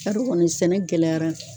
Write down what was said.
Tari kɔnɔ sɛnɛ gɛlɛyara